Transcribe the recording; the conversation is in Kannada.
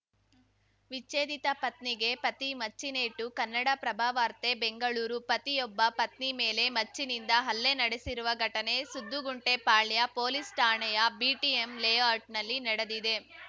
ವಿಚ್ಛೇದಿತ ಪತ್ನಿಗೆ ಪತಿ ಮಚ್ಚಿನೇಟು ಕನ್ನಡಪ್ರಭವಾರ್ತೆ ಬೆಂಗಳೂರು ಪತಿಯೊಬ್ಬ ಪತ್ನಿ ಮೇಲೆ ಮಚ್ಚಿನಿಂದ ಹಲ್ಲೆ ನಡೆಸಿರುವ ಘಟನೆ ಸುದ್ದುಗುಂಟೆಪಾಳ್ಯ ಪೊಲೀಸ್‌ ಠಾಣೆಯ ಬಿಟಿಎಂ ಲೇಔಟ್‌ನಲ್ಲಿ ನಡೆದಿದೆ